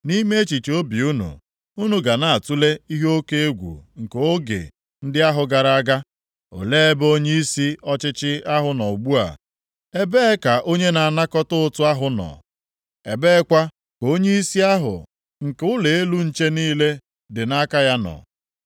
Nʼime echiche obi unu, unu ga na-atule ihe oke egwu nke oge ndị ahụ gara aga. “Olee ebe onyeisi ọchịchị ahụ nọ ugbu a? Ebee ka onye na-anakọta ụtụ ahụ nọ? Ebeekwa ka onyeisi ahụ nke ụlọ elu nche niile dị nʼaka ya nọ?”